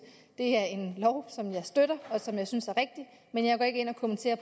det er en lov som jeg støtter fuldt og som jeg synes er rigtig men jeg går ikke ind og kommenterer